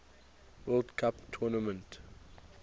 world cup tournament